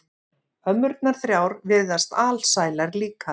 Ömmurnar þrjár virðast alsælar líka.